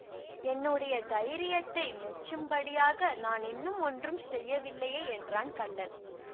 என்னுடைய தைரியத்தை மெச்சும்படியாக நான் இன்னும் ஒன்றும் செய்யவில்லையே என்றான் கள்ளன்